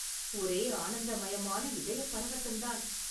ஒரே ஆனந்தமயமான இதயப் பரவசந்தான்.